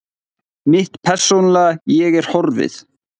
Mitt persónulega ég er horfið.